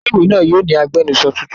Ilé-ìwé náà yóò ní agbẹnusọ tuntun.